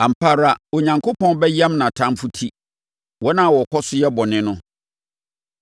Ampa ara, Onyankopɔn bɛyam nʼatamfoɔ ti, wɔn a wɔkɔ so yɛ bɔne no.